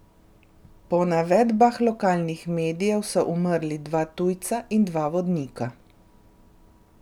Po navedbah lokalnih medijev so umrli dva tujca in dva vodnika.